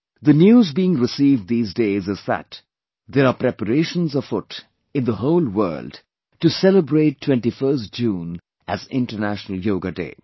The news being received these days is that there are preparations afoot in the whole world to celebrate 21st June as International Yoga Day